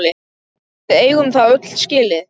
Við eigum það öll skilið!